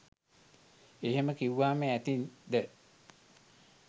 එහෙම කිව්වම ඇති ද?